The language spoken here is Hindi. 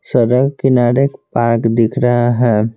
सड़क किनारे एक पार्क दिख रहा है।